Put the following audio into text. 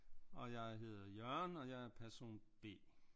Og jeg hedder Jørgen og jeg er person B